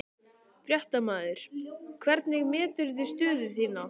Fréttamaður: Hvernig meturðu stöðu þína?